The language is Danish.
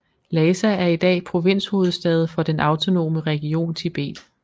Lhassa er i dag provinshovedstad for den Autonome region Tibet